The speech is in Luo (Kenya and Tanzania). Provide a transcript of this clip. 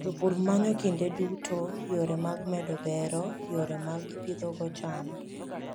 Jopur manyo kinde duto yore mag medo bero yore ma gipidhogo cham.